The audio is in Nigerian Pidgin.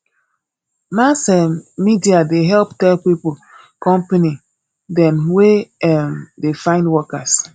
mass um media dey help tell pipo company dem wey um dey find workers